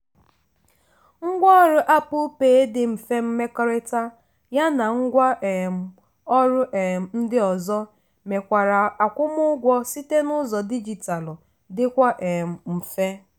ngwa ọrụ apple pay dị mfe mmekọrịta ya na ngwa um ọrụ um ndị ozo mekwara akwụmụụgwọ site n'ụzọ dijitalu dịkwa um mfe.